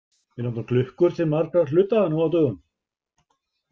Við notum klukkur til margra hluta nú á dögum.